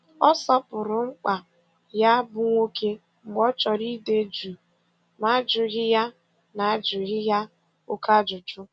Ọ sọpụrụ mkpa ya bụ nwoke mgbe ọ chọrọ ide jụụ na ajụghị ya na ajụghị ya oké ajụjụ